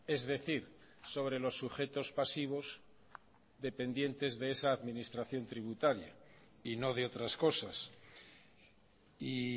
es decir sobre los sujetos pasivos dependientes de esa administración tributaria y no de otras cosas y